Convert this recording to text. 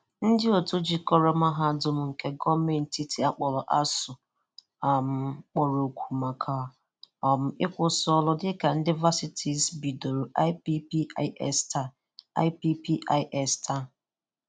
Ndị òtù jikọrọ Mahadum nke gọọmenti etiti a kpọrọ ASUU um kpọrọ òkù maka um ịkwụsị ọrụ dị ka ndị Varsites bidoro IPPIS Taa IPPIS Taa